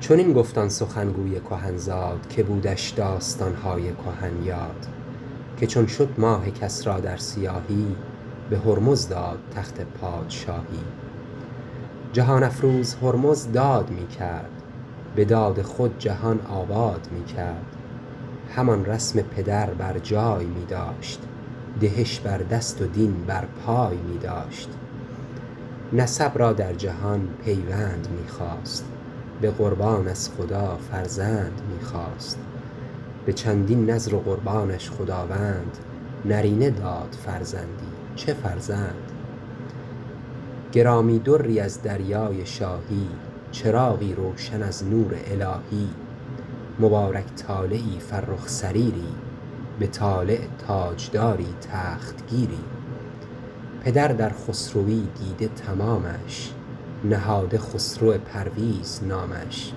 چنین گفت آن سخن گوی کهن زاد که بودش داستان های کهن یاد که چون شد ماه کسری در سیاهی به هرمز داد تخت پادشاهی جهان افروز هرمز داد می کرد به داد خود جهان آباد می کرد همان رسم پدر بر جای می داشت دهش بر دست و دین بر پای می داشت نسب را در جهان پیوند می خواست به قربان از خدا فرزند می خواست به چندین نذر و قربانش خداوند نرینه داد فرزندی چه فرزند گرامی دری از دریای شاهی چراغی روشن از نور الهی مبارک طالعی فرخ سریری به طالع تاج داری تخت گیری پدر در خسروی دیده تمامش نهاده خسرو پرویز نامش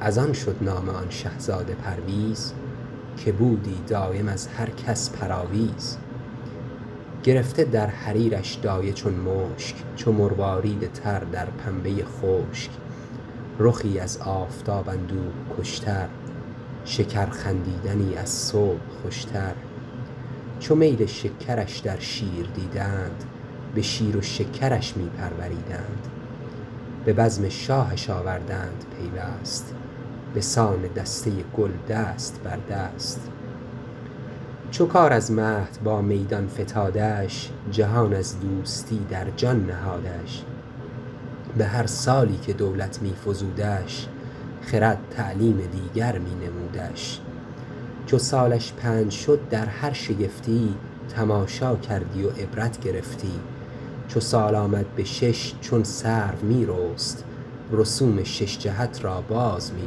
از آن شد نام آن شهزاده پرویز که بودی دایم از هر کس پر آویز گرفته در حریرش دایه چون مشک چو مروارید تر در پنبه خشک رخی از آفتاب اندوه کش تر شکر خندیدنی از صبح خوش تر چو میل شکرش در شیر دیدند به شیر و شکرش می پروریدند به بزم شاهش آوردند پیوست بسان دسته گل دست بر دست چو کار از مهد با میدان فتادش جهان از دوستی در جان نهادش به هر سالی که دولت می فزودش خرد تعلیم دیگر می نمودش چو سالش پنج شد در هر شگفتی تماشا کردی و عبرت گرفتی چو سال آمد به شش چون سرو می رست رسوم شش جهت را باز می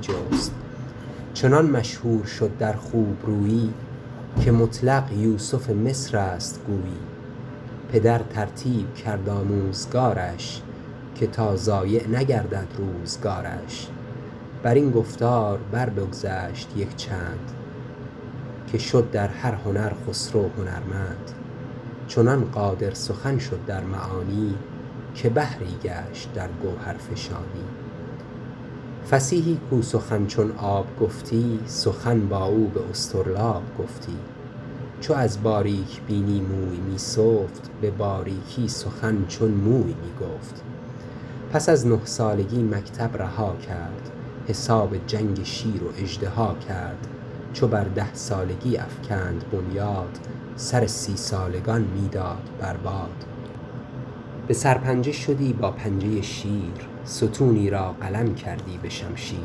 جست چنان مشهور شد در خوب رویی که مطلق یوسف مصر است گویی پدر ترتیب کرد آموزگارش که تا ضایع نگردد روزگارش بر این گفتار بر بگذشت یک چند که شد در هر هنر خسرو هنرمند چنان قادر سخن شد در معانی که بحری گشت در گوهرفشانی فصیحی کاو سخن چون آب گفتی سخن با او به اصطرلاب گفتی چو از باریک بینی موی می سفت به باریکی سخن چون موی می گفت پس از نه سالگی مکتب رها کرد حساب جنگ شیر و اژدها کرد چو بر ده سالگی افکند بنیاد سر سی سالگان می داد بر باد به سرپنجه شدی با پنجه شیر ستونی را قلم کردی به شمشیر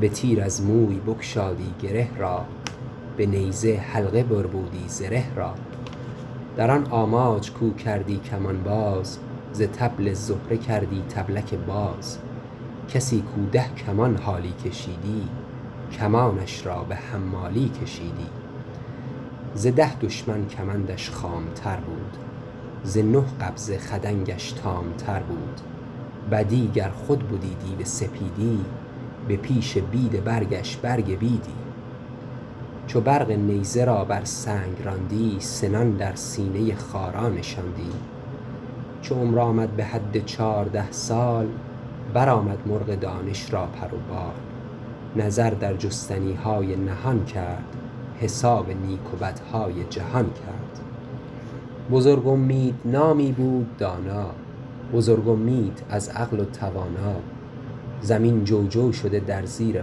به تیر از موی بگشادی گره را به نیزه حلقه بربودی زره را در آن آماج کاو کردی کمان باز ز طبل زهره کردی طبلک باز کسی کاو ده کمان حالی کشیدی کمانش را به حمالی کشیدی ز ده دشمن کمندش خام تر بود ز نه قبضه خدنگش تام تر بود بدی گر خود بدی دیو سپیدی به پیش بید برگش برگ بیدی چو برق نیزه را بر سنگ راندی سنان در سینه خارا نشاندی چو عمر آمد به حد چارده سال بر آمد مرغ دانش را پر و بال نظر در جستنی های نهان کرد حساب نیک و بدهای جهان کرد بزرگ امید نامی بود دانا بزرگ امید از عقل و توانا زمین جوجو شده در زیر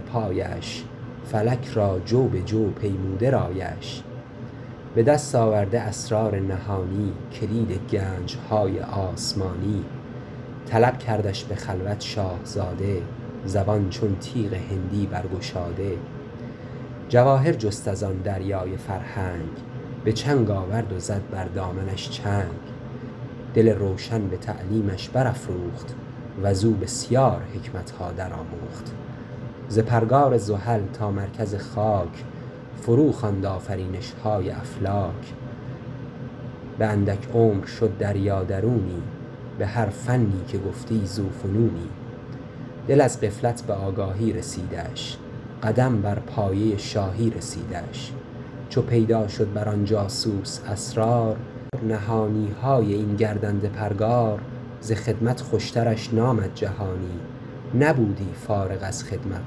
پایش فلک را جو به جو پیموده رایش به دست آورده اسرار نهانی کلید گنج های آسمانی طلب کردش به خلوت شاهزاده زبان چون تیغ هندی برگشاده جواهر جست از آن دریای فرهنگ به چنگ آورد و زد بر دامنش چنگ دل روشن به تعلیمش برافروخت وزو بسیار حکمت ها در آموخت ز پرگار زحل تا مرکز خاک فرو خواند آفرینش های افلاک به اندک عمر شد دریا درونی به هر فنی که گفتی ذو فنونی دل از غفلت به آگاهی رسیدش قدم بر پایه شاهی رسیدش چو پیدا شد بر آن جاسوس اسرار نهانی های این گردنده پرگار ز خدمت خوش ترش نآمد جهانی نبودی فارغ از خدمت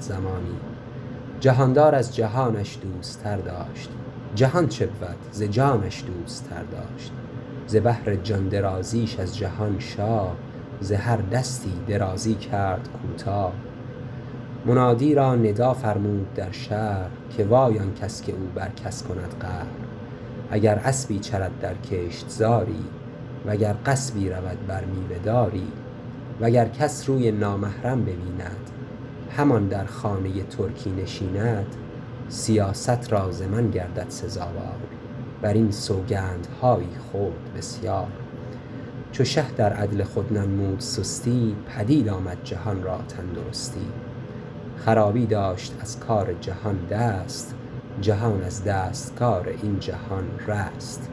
زمانی جهان دار از جهانش دوستر داشت جهان چبود ز جانش دوستر داشت ز بهر جان درازیش از جهان شاه ز هر دستی درازی کرد کوتاه منادی را ندا فرمود در شهر که وای آن کس که او بر کس کند قهر اگر اسبی چرد در کشت زاری و گر غصبی رود بر میوه داری و گر کس روی نامحرم ببیند همان در خانه ترکی نشیند سیاست را ز من گردد سزاوار بر این سوگند هایی خورد بسیار چو شه در عدل خود ننمود سستی پدید آمد جهان را تن درستی خرابی داشت از کار جهان دست جهان از دست کار این جهان رست